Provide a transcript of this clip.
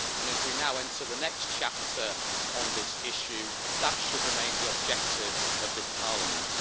As we now enter the next chapter on this issue, that should remain the objective of this Parliament.